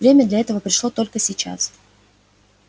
время для этого пришло только сейчас